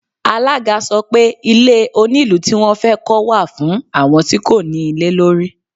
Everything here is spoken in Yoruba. Alága sọ pé Ilé onílùú tí wón fẹ́ kọ́ wà fún àwọn tí kò ní ilé lórí.